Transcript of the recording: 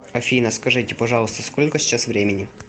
афина скажите пожалуйста сколько сейчас времени